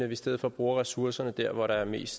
vi i stedet for bruger ressourcerne der hvor der er mest